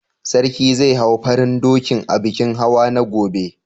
Sarki zai hau farin dokin a bikin hawa na gobe?